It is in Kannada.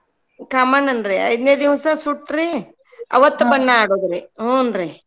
ಕಾಮಣ್ಣನ್ರಿ ಐದ್ನೇ ದಿವ್ಸ ಸುಟ್ರೀ ಅವತ್ ಬಣ್ಣ ಆಡೋದ್ರಿ ಹ್ಞೂನ್ರಿ.